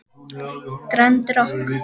Grand Rokk.